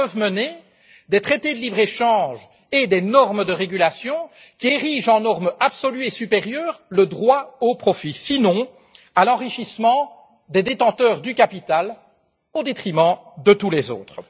À quoi peuvent mener des traités de libre échange et des normes de réglementation qui érigent en norme absolue et supérieure le droit au profit, sinon à l'enrichissement des détenteurs du capital au détriment de tous les autres?